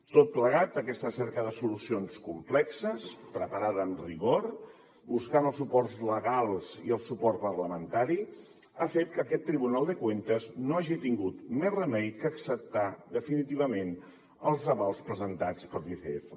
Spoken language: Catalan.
tot plegat aquesta cerca de solucions complexes preparada amb rigor buscant els suports legals i el suport parlamentari ha fet que aquest tribunal de cuentas no hagi tingut més remei que acceptar definitivament els avals presentats per l’icf